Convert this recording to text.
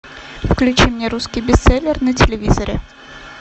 включи мне русский бестселлер на телевизоре